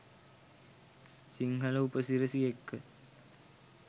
සිංහල උප සිරැසි එක්ක